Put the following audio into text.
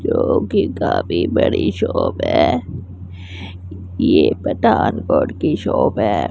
जो कि काफ़ी बड़ी शॉप है ये पठानकोट की शॉप है।